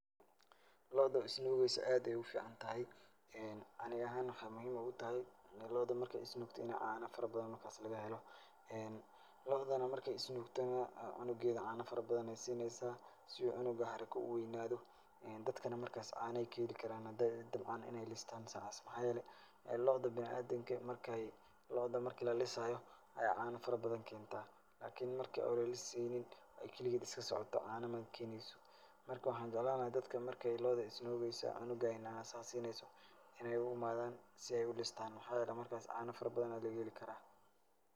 Lo'oda isnuugaysa aad bay uficantahay, ee aniga ahaan waxaay muhiim ugatahay in lo'oda marka ay is nuugto inay caano farabadan markaas laga helo. Ee lo'oda marka ay is nuugtana cunageeda caano farabadan ayaa siineysaa si cunuga haraka u weynaado dadkana markaas caano ayaa ka heli karaan maadaama, dhabcan in ay listaan. Maxaa yeelay lo'oda bina'aadinka, markay, lo'oda marka ay la lisaayo ay caano farabadan keenta. lakini marka ay la li saynin ay keligeeda iska socoto caano ma keenayso. Marka, waxaan jeclaan lahaa dadka marka lo'oda is nuugeysa cunuga ay naasa ay siineyso inaay u i maadaan si ay ulistaan. Maxaayeelay markas caano farabadan laga heli karaa.